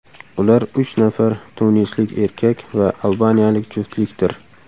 Ular uch nafar tunislik erkak va albaniyalik juftlikdir.